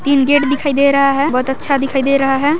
तीन गेट दिखाई दे रहा है बहुत अच्छा दिखाई दे रहा है।